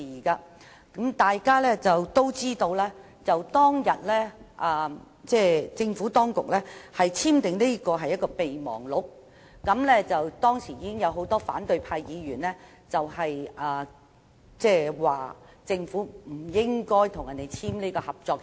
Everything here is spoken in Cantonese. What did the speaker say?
大家都知道，政府當局當天簽訂的是合作備忘錄，當時已有很多反對派議員反對政府簽訂合作協議。